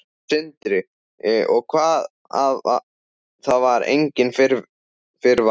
Sindri: Og það var enginn fyrirvari?